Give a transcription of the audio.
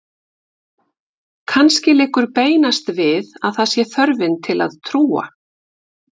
Kannski liggur beinast við að að það sé þörfin til að trúa.